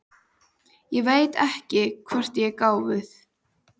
Ég veit ekki hvort ég er gáfuð.